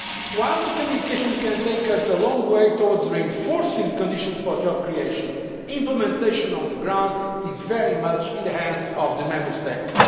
While the communication can take us a long way towards reinforcing the conditions for job creation, implementation on the ground is very much in the hands of the Member States.